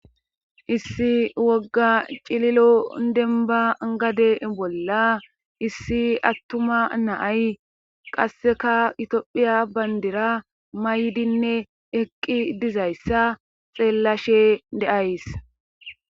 Issi wogga cililo denba gade bolla issi attuma naay qasseka itophiya bayndira maydinne eqqi dizayssa xeellashe deays.